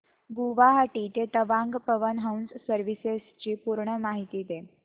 गुवाहाटी ते तवांग पवन हंस सर्विसेस ची पूर्ण माहिती